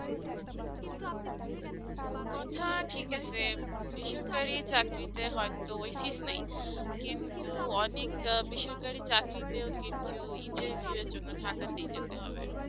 কথা ঠিক আছে বেসরকারি চাকরিতে হয়তো ওই fees নাই কিন্তু অনেকটা বেসরকারি চাকরি তে কিন্তু interview এর জন্য ঢাকাতে যেতে হবে